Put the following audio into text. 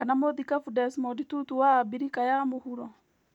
kana mũthikabu Desmond Tutu wa Abirika ya mũhuro